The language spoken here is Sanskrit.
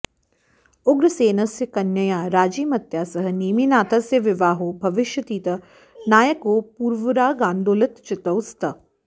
उग्रसेनस्य कन्यया राजीमत्या सह नेमिनाथस्य विवाहो भविष्यतीति नायकौ पूर्वरागान्दोलितचित्तौ स्तः